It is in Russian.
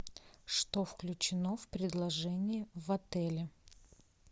что включено в предложение в отеле